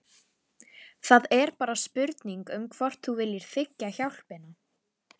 Það er bara spurning um hvort þú viljir þiggja hjálpina.